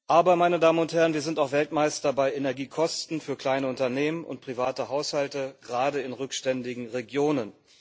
Aber wir sind auch Weltmeister bei Energiekosten für kleine Unternehmen und private Haushalte, gerade in rückständigen Regionen.